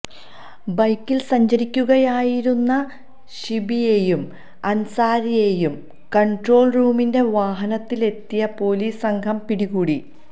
ബൈക്കിൽ സഞ്ചരിക്കുകയായിരുന്ന ശിബിയേയും അൻസാരിയേയും കൺട്രോൾ റൂമിന്റെ വാഹനത്തിലെത്തിയ പൊലീസ് സംഘം പിടികൂടി